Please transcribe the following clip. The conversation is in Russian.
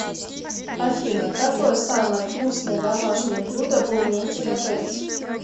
афина какое самое вкусное домашнее блюдо вы умеете готовить